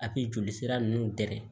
A bi joli sira nunnu dɛ